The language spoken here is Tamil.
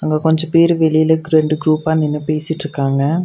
அங்க கொஞ்ச பேர் வெளியில க்ரு ரெண்டு குரூப்பா நின்னு பேசிட்ருக்காங்க.